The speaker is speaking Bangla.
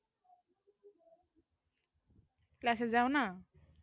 class এ যাও